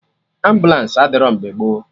Ambụlansi adịrọ mgbe gboo